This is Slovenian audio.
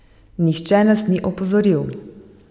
Nihče nas ni opozoril.